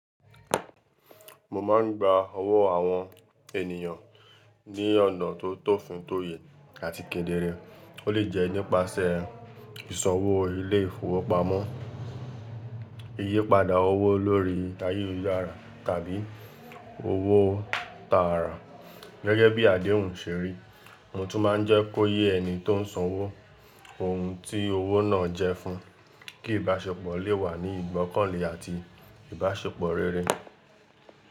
Mo máa ń gba owó àwọn ènìyàn ní ọ̀nà tó tòfin tóye àti kedere. Ó lè jẹ́ nípasẹ̀ ìsanwó ilé ìfowópamọ́, ìyípadà owó lórí ayélujára tàbí owó tààrà. Gẹ́gẹ́ bí àdéhùn ṣeri, mo tún máa ń jẹ́ kó yé ẹni tó ń sanwó ohun tí owó náà jẹ́ fún, kí ìbáṣepọ̀ lè wà ní ìgbọ́kànlé àti ìbáṣepọ̀ rere.